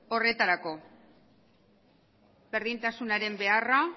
horretarako berdintasunaren beharra